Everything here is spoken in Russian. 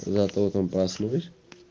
завтра утром проснулись